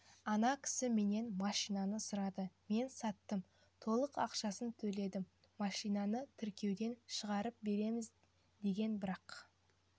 ана кісі менен машинаны сұрады мен саттым толық ақшасын төледі машинаны тіркеуден шығарып береміз деген бірақ